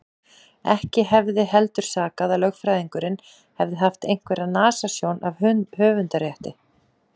Ekki hefði heldur sakað að lögfræðingurinn hefði haft einhverja nasasjón af höfundarrétti.